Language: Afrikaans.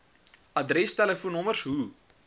adres telefoonnommers hoe